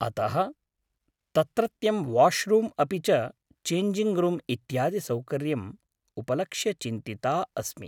अतः, तत्रत्यं washroom अपि च चेञ्जिङ्ग् रूम् इत्यादिसौकर्यम् उपलक्ष्य चिन्तिता अस्मि।